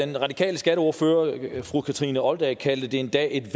den radikale skatteordfører fru kathrine olldag kaldte det en dag et